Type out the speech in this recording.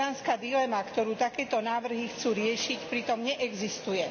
kodanská dilema, ktorú takéto návrhy chcú riešiť, pritom neexistuje.